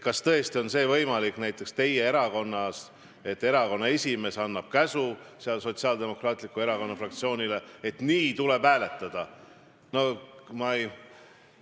Kas tõesti on näiteks teie erakonnas võimalik, et erakonna esimees annab käsu Sotsiaaldemokraatliku Erakonna fraktsioonile, et nii tuleb hääletada?